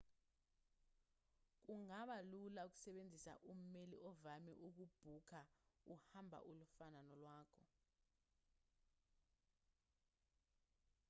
kungaba lula ukusebenzisa ummeli ovame ukubhukha uhambo olufana nolwakho